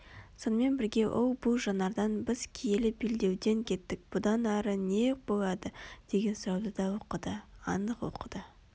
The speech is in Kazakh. сонымен бірге ол бұл жанардан біз киелі белдеуден кеттік бұдан ары не болады деген сұрауды да оқыды анық оқыды